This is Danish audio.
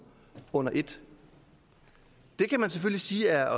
under et det kan man selvfølgelig sige er